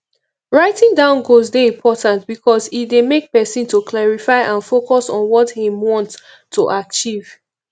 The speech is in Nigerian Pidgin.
writing down goals dey important because e dey make pesin to clarify and focus on what im want to achieve